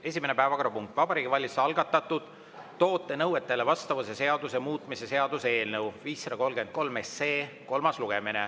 Esimene päevakorrapunkt on Vabariigi Valitsuse algatatud toote nõuetele vastavuse seaduse muutmise seaduse eelnõu 533 kolmas lugemine.